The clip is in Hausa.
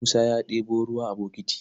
Musa ya ɗebo ruwa a bokiti.